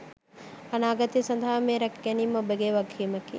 අනාගතය සදහා මෙය රැක දීම ඔබගේ වගකීමකි.